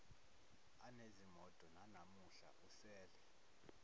anezimoto nanamuhla usele